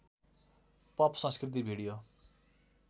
pop संस्कृति video